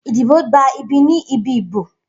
Idibo gba ibi ni ibi ibo.